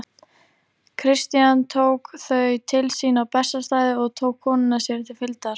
Christian tók þau til sín á Bessastaði og tók konuna sér til fylgdar.